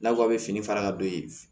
N'aw ko a bɛ fini fara ka don yen